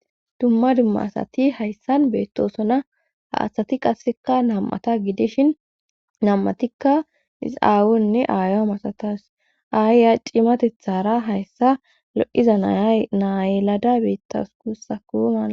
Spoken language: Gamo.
dumma dumma asati hayssan beettosona ha asati qasseka nam7ata gidishin nam7atikka is7aawunne aayo masatas ayya cimatethara hayssa lo7iza naayelada beettawus guussa kumaa